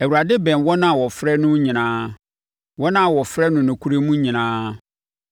Awurade bɛn wɔn a wɔfrɛ no nyinaa, wɔn a wɔfrɛ no nokorɛ mu nyinaa.